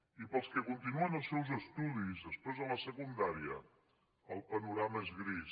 i per als que continuen els seus estudis després de la secundària el panorama és gris